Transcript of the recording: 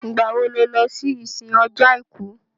Ìgbà wo lo lọ sí ìsìn ọjọ́ àìkú?